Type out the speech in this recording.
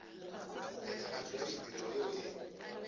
phethagatšo ya ditirelo yeo e